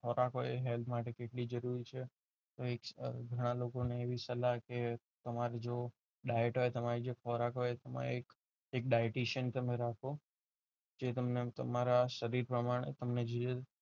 ખોરાક માટે કેટલું જરૂરી છે ઘણા લોકોને એવી સલાહ કે તમારે જો ડાયટ હોય તમારો જે ખોરાક હોય એ dietitian તમે રાખો જે તમને તમારા શરીર પ્રમાણે તમને જે